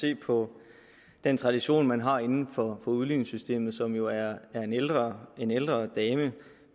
se på den tradition man har inden for udligningssystemet som jo er en ældre en ældre dame